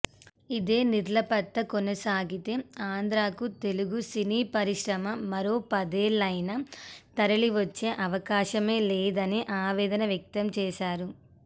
ఇదే నిర్లిప్తత కొనసాగితే ఆంధ్రాకు తెలుగు సినీ పరిశ్రమ మరో పదేళ్లయినా తరలివచ్చే అవకాశమే లేదని ఆవేదన వ్యక్తం చేశారు